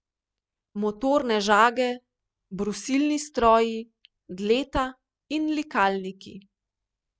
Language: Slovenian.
Motorne žage, brusilni stroji, dleta in likalniki.